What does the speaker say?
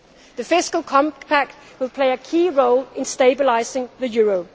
our region. The Fiscal Compact will play a key role in stabilising